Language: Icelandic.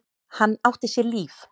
Hann átti sér líf.